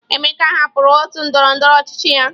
Emeka hapụrụ otu ndọrọndọrọ ọchịchị ya.